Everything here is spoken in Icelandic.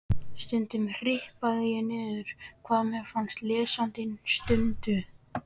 Stundum hripaði ég niður hvað mér fannst á lesandi stundu.